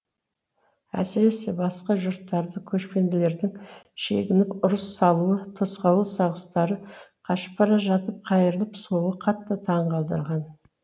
әсіресе басқа жұрттарды көшпенділердің шегініп ұрыс салуы тосқауыл сағыстары қашып бара жатып қайырылып соғуы қатты таңқалдырған